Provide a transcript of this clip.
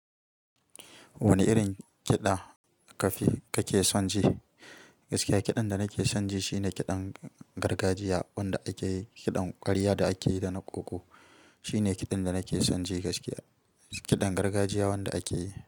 Wane irin kiɗa ka ke son ji? Gaskiya kiɗan da nake son ji shine kiɗan gargajiya wanda ake yi, kiɗan ƙwarya da ake yi da na ƙoƙo. Shi ne kiɗan da nake son ji gaskiya. Kiɗan gargajiya wanda ake yi.